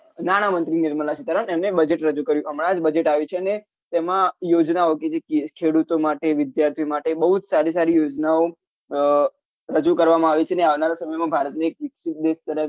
નાણા મંત્રી નિર્મલા સીતારામન એમને budget રજુ કર્યું હમણાં જ budget આવ્યું છે ને તેમાં યોજનાઓ કે જે ખેડુતો માટે વિદ્યાર્થીઓ માટે બહુ જ સારી સારી યોજનાઓ રજુ કરવામાં આવી છે આવાનારા સમય માં ભારતને વિકસિત દેશ